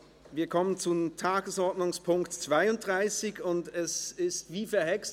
Wir kommen zum Tagesordnungspunkt 32, und es ist wie verhext.